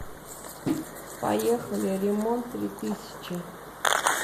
поехали ремонт три тысячи